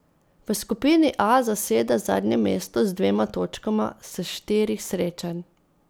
V skupini A zaseda zadnje mesto z dvema točkama s štirih srečanj.